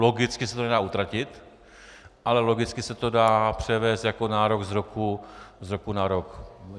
Logicky se to nedá utratit, ale logicky se to dá převést jako nárok z roku na rok.